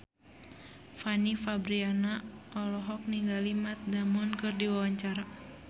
Fanny Fabriana olohok ningali Matt Damon keur diwawancara